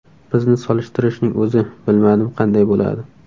Bizni solishtirishning o‘zi, bilmadim, qanday bo‘ladi?